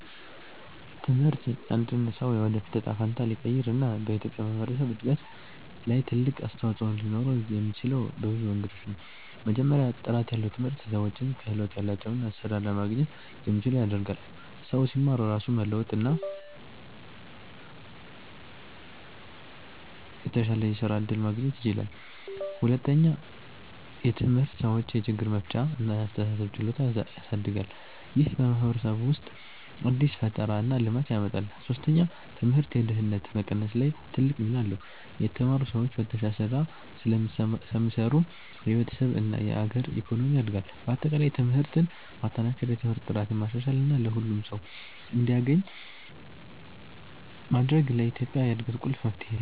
ትምህርት የአንድን ሰው የወደፊት እጣ ፈንታ ሊቀይር እና በኢትዮጵያ ማህበረሰብ እድገት ላይ ትልቅ አስተዋፅኦ ሊኖረው የሚችለው በብዙ መንገዶች ነው። መጀመሪያ፣ ጥራት ያለው ትምህርት ሰዎችን ክህሎት ያላቸው እና ስራ ለማግኘት የሚችሉ ያደርጋል። ሰው ሲማር ራሱን መለወጥ እና የተሻለ የስራ እድል ማግኘት ይችላል። ሁለተኛ፣ ትምህርት ሰዎችን የችግር መፍቻ እና የአስተሳሰብ ችሎታ ያሳድጋል። ይህ በማህበረሰብ ውስጥ አዲስ ፈጠራ እና ልማት ያመጣል። ሶስተኛ፣ ትምህርት የድህነት መቀነስ ላይ ትልቅ ሚና አለው። የተማሩ ሰዎች በተሻለ ስራ ስለሚሰሩ የቤተሰብ እና የአገር ኢኮኖሚ ያድጋል። በአጠቃላይ ትምህርትን ማጠናከር፣ የትምህርት ጥራትን ማሻሻል እና ሁሉም ሰው እንዲያገኝ ማድረግ ለኢትዮጵያ እድገት ቁልፍ መፍትሄ ነው።